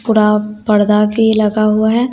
पूरा पर्दा भी लगा हुआ है।